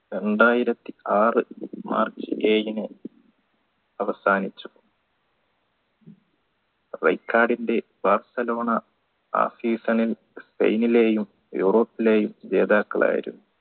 രണ്ടായിരത്തി ആർ march ഏഴിന് അവസാനിച്ചു റെക്കർഡിന്റെ ബാഴ്സലോണ ആ season ൽ സ്പെയിനിലെയും യൂറോപ്പിലെയും ജേതാക്കളായി